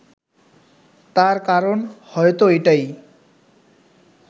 তার কারণ হয়তো এটাই